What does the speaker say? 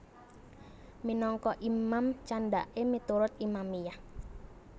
Minangka Imam candhaké miturut Imamiyah